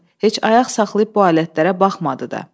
Heç ayaq saxlayıb bu alətlərə baxmadı da.